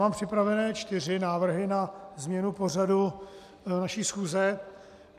Mám připravené čtyři návrhy na změnu pořadu naší schůze.